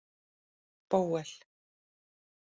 Bóel